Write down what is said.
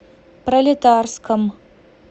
пролетарском